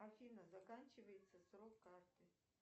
афина заканчивается срок карты